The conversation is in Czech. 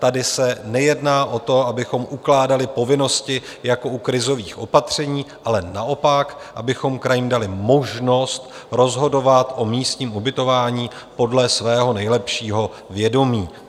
Tady se nejedná o to, abychom ukládali povinnosti jako u krizových opatření, ale naopak, abychom krajům dali možnost rozhodovat o místním ubytování podle svého nejlepšího vědomí.